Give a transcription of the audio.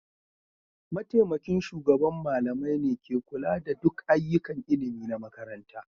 Mataimakin shugaban malamai ne ke kula da duk ayyukan ilimi na makarantar.